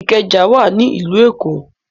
Ìkẹjà wà ní ìlú Èkó.